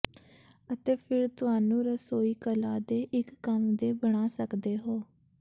ਅਤੇ ਫਿਰ ਤੁਹਾਨੂੰ ਰਸੋਈ ਕਲਾ ਦੇ ਇੱਕ ਕੰਮ ਦੇ ਬਣਾ ਸਕਦੇ ਹੋ